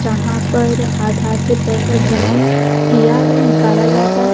जहां पर आधार से पैसा जमा किया व निकल जाता--